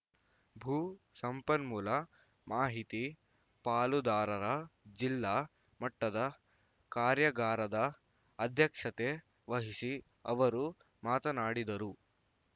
ಭೂ ಸಂಪನ್ಮೂಲ ಮಾಹಿತಿ ಪಾಲುದಾರರ ಜಿಲ್ಲಾ ಮಟ್ಟದ ಕಾರ್ಯಾಗಾರದ ಅಧ್ಯಕ್ಷತೆ ವಹಿಸಿ ಅವರು ಮಾತನಾಡಿದರು